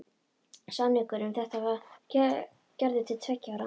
Samningur um þetta var gerður til tveggja ára.